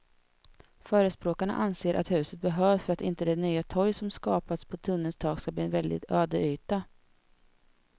Förespråkarna anser att huset behövs för att inte det nya torg som skapas på tunnelns tak ska bli en väldig ödeyta.